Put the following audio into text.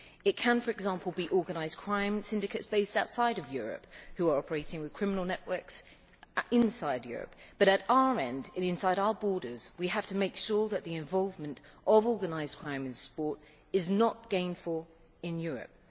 It can, for example, be organised crime syndicates based outside of Europe who are operating with criminal networks inside Europe, but at our end, and inside our borders, we have to make sure that the involvement of organised crime in sport is not gainful in Europe.